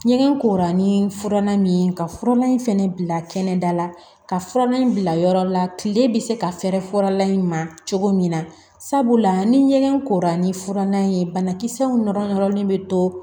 Ɲɛgɛn kora ni fura min ye ka furalan in fɛnɛ bila kɛnɛda la ka furalan in bila yɔrɔ la kile bɛ se ka fɛrɛ fɔlan in ma cogo min na sabula ni ɲɛgɛn kora ni furanna ye banakisɛw nɔrɔ nɔrɔlen bɛ to